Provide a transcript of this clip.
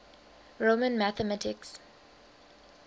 roman mathematics